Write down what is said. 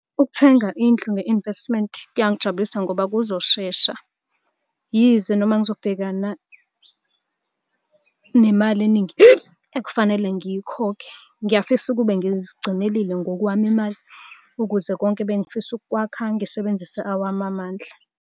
Ukuthenga indlu nge-investment kuyangijabulisa ngoba kuzoshesha. Yize noma ngizobhekana nemali eningi ekufanele ngiyikhokhe. Ngiyafisa ukube ngizigcinelile ngokwami imali ukuze konke ebengifisa ukukwakha ngisebenzise awami amandla.